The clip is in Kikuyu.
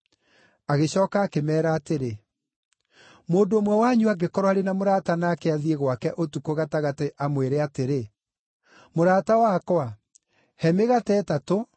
Agĩcooka akĩmeera atĩrĩ, “Mũndũ ũmwe wanyu angĩkorwo arĩ na mũrata nake athiĩ gwake ũtukũ gatagatĩ amwĩre atĩrĩ, ‘Mũrata wakwa, he mĩgate ĩtatũ,